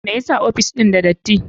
Me yasa ofis ɗin da dati?